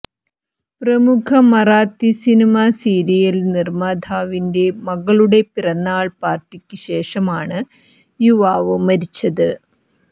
പ്രമുഖ Marathi cinema serial നിര്മാതാവിന്റെ മകളുടെ പിറന്നാള് പാര്ട്ടിക്ക് ശേഷമാണ് യുവാവ് മരിച്ചത്